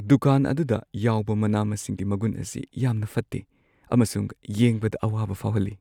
ꯗꯨꯀꯥꯟ ꯑꯗꯨꯗ ꯌꯥꯎꯕ ꯃꯅꯥ-ꯃꯁꯤꯡꯒꯤ ꯃꯒꯨꯟ ꯑꯁꯤ ꯌꯥꯝꯅ ꯐꯠꯇꯦ ꯑꯃꯁꯨꯡ ꯌꯦꯡꯕꯗ ꯑꯋꯥꯕ ꯐꯥꯎꯍꯜꯂꯤ꯫